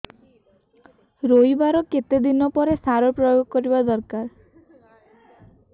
ରୋଈବା ର କେତେ ଦିନ ପରେ ସାର ପ୍ରୋୟାଗ କରିବା ଦରକାର